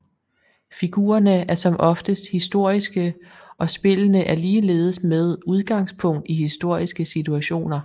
Figurerne er som oftest historiske og spillene er ligeledes med udgangspunkt i historiske situationer